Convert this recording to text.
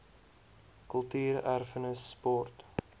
kultuur erfenis sport